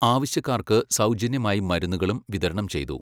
ആവശ്യക്കാർക്ക് സൗജന്യമായി മരുന്നുകളും വിതരണം ചെയ്തു.